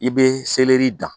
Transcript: I be dan